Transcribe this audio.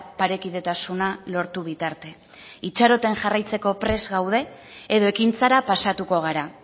parekidetasuna lortu bitarte itxaropen jarraitzeko prest gaude edo ekintzara pasatuko gara